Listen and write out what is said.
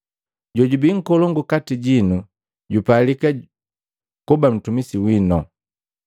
Jojubi nkolongu kati jinu jupalika kuba ntumisi wino.